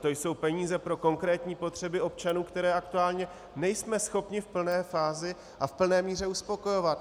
To jsou peníze pro konkrétní potřeby občanů, které aktuálně nejsme schopni v plné fázi a v plné míře uspokojovat.